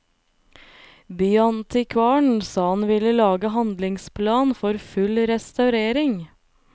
Byantikvaren sa han ville lage handlingsplan for full restaurering.